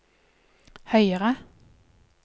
høyere